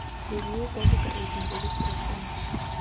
leruo kwa bokaeding jwa diporofense